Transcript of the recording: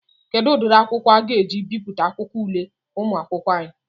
Kedụ ụdịrị akwụkwọ aga eji ebipụta akwụkwọ ule ụmụakwụkwọ anyị?